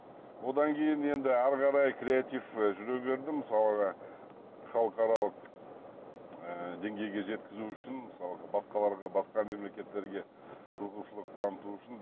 одан кейін енді әрі қарай креатив жүре берді мысалға халықаралық ы деңгейге жеткізу үшін мысалға басқаларға басқа мемлекеттерге қызығушылық таныту үшін